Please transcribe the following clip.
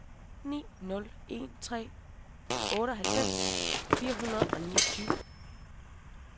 ni nul en tre otteoghalvfems fire hundrede og niogtyve